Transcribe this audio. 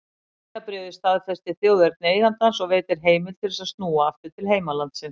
Vegabréfið staðfestir þjóðerni eigandans og veitir heimild til þess að snúa aftur til heimalandsins.